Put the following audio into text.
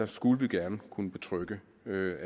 skulle vi gerne kunne betrygge